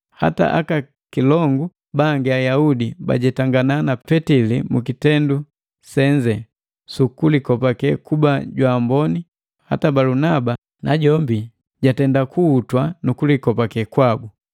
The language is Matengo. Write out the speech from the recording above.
Hata aka kilongu bangi Ayaudi bajetangana na Petili mukitendu senze su kulikopake kuba jwaamboni hata Balunaba najombi jatenda kuhuta nukulikopake kwabu.